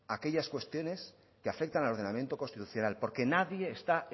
aquellas cuestiones que afectan al ordenamiento constitucional porque nadie está